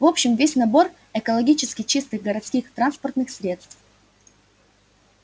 в общем весь набор экологически чистых городских транспортных средств